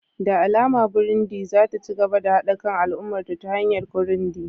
Da alama Burundi za ta ci gaba da haɗa kan al'ummarta ta hanyar Kirundi